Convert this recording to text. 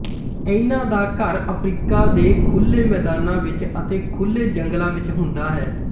ਇਨ੍ਹਾਂ ਦਾ ਘਰ ਅਫਰੀਕਾ ਦੇ ਖੁੱਲੇ ਮੈਦਾਨਾਂ ਵਿੱਚ ਅਤੇ ਖੁੱਲੇ ਜੰਗਲਾਂ ਵਿੱਚ ਹੁੰਦਾ ਹੈ